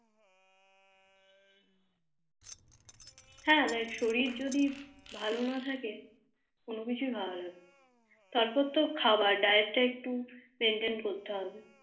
হ্যাঁ দেখ শরীর যদি ভালো না থাকে কোনো কিছু ভালো লাগে না তারপর তো খাবার Diet টা একটু Maintaine করতে হবে